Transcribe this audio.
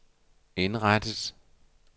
indrettet